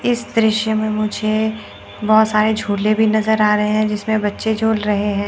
इस दृश्य में मुझे बहोत सारे झूले भी नजर आ रहे हैं जिसमें बच्चे झूल रहे हैं।